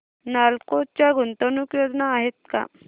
नालको च्या गुंतवणूक योजना आहेत का